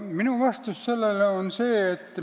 Minu vastus on selline.